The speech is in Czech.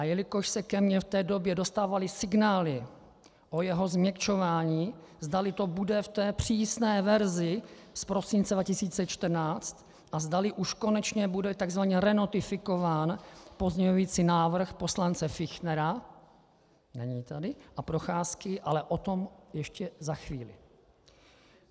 A jelikož se ke mně v té době dostávaly signály o jeho změkčování, zdali to bude v té přísné verzi z prosince 2014 a zdali už konečně bude tzv. renotifikován pozměňující návrh poslance Fichtnera, není tady, a Procházky, ale o tom ještě za chvíli.